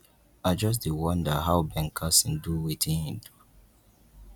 i just dey wonder how ben carson do wetin he do